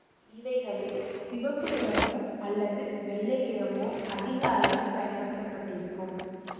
இவைகளில் சிவப்பு நிறமோ அல்லது வெள்ளை நிறமோ அதிக அளவில் பயன்படுத்த பட்டிருக்கும்